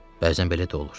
Bəzən belə də olur.